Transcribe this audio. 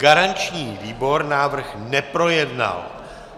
Garanční výbor návrh neprojednal.